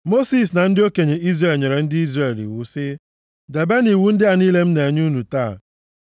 Mosis na ndị okenye Izrel nyere ndị Izrel iwu sị, “Debenụ iwu ndị a niile m na-enye unu taa.